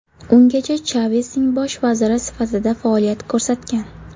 Ungacha Chavesning bosh vaziri sifatida faoliyat ko‘rsatgan.